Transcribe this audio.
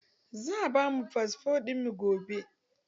Za a ba mu fasfo ɗin mu gobe.